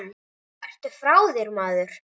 Ertu frá þér, maður?